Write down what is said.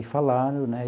E falaram, né?